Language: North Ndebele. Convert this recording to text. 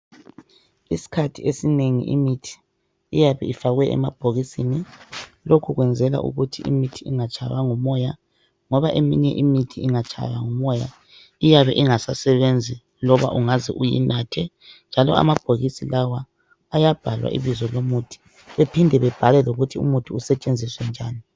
Isikhathi esinengi iyabe ifakwe emabhokisini lokhu kwenzelwa ukuthi imithi ingatshaywa ngumoya ngoba eminye imithi ingatshaywa ngumoya iyabe ingasasebenzi loba ungaze uyinathe njalo amabhokisi lawa ayabhalwa ibizo lomuthi bephinde bebhale lokuthi umuthi usetshenziswa njani